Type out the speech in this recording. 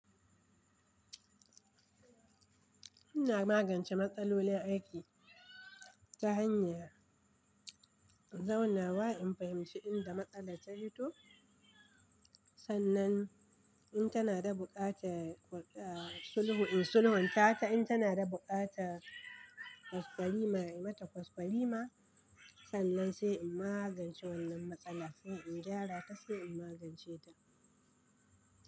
Ina magance matsalolin aiki ta hanyar zauna wa in fahimci inda matsala ta fito. Sannan in tana da buƙatar sulhu in sulhunta ta, in tana da buƙatar kwaskwarima in yi mata kwaskwarima. Sannan sai in magance wannan matsala, sai in gyara ta sai in magance ta.